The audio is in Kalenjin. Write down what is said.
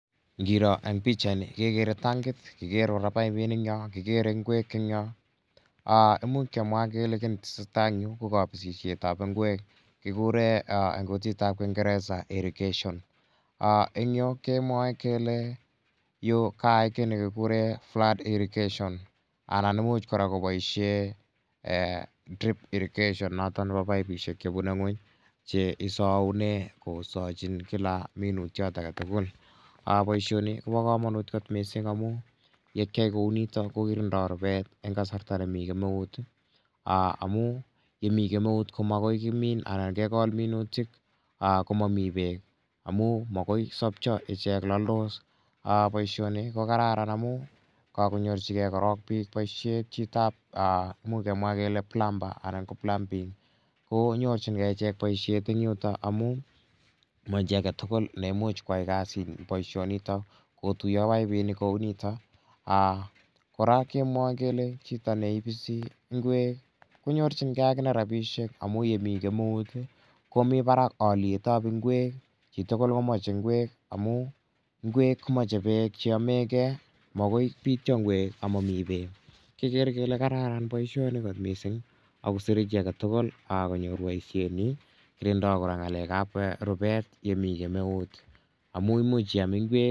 Ngiro eng' pichaini kekere tankit, kikere kora paipinik eng' yo, kikere ngwek eng' yo, imuch kemwa kele ki ne tese tai eng' yu ko kapisishet ap ngwek. Kikure eng' kutit ap kingeresa irrigation. Eng' yu kemwae kele yu kaai ki ne kikure flood irrigation anan imuch kora kopoishe drip irrigation notok nepo paipishek che pune ng'uny che isaune kosachin kila minutiet age tugul. Poishoni ko pa kamanut kot missing' amu ye kiai kou nitok ko kirindai rupet eng' kasarta ne mi kemeut amu ye mi kemeut ko makoi kimin anan kekol minutik ko mami peek amu makoi sapcha ichek, laldos. Poishoni ko kararan amu kakonyorchigei pik korok poishet , chitap imuch kemwa kele plumber anan ko plumbing ko nyorchingei ichek poishet eng' yuta amu ma chi age tugul ne imuch koya poishonitok, kotuya paipinik kou nitok. Kora kemwae kele chito ne ipisi ngwek ko nyorchingei akine rapishek amu ye mi kemeut ko mi parak aliet ap ngwek , chi tugul ko mache ngwek amu ngwek ko mache peek che yame gei. Makoi pitya ngwek ama mi peek. Kekere kele kararan poishoni missing' ako sire chi age tugul konyor poishetnyi. Kirindai kora rupet ye mi kemeut amu imuch iam ngwek.